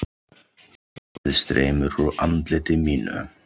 Vatnið streymir úr andliti mínu.